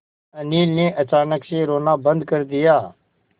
अनिल ने अचानक से रोना बंद कर दिया